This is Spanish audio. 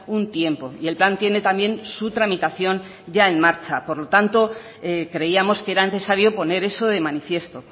un tiempo y el plan tiene también su tramitación en marcha por lo tanto creíamos que era necesario poner eso de manifiesto